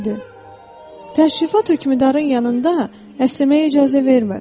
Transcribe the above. Kral dedi: "Təşrifat hökmdarın yanında əsnəməyə icazə vermir.